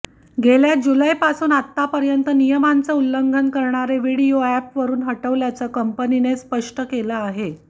गेल्या जुलैपासून आतापर्यंत नियमांचं उल्लंघन करणारे व्हिडिओ ऍपवरून हटवल्याचं कंपनीनं स्पष्ट केलं आहे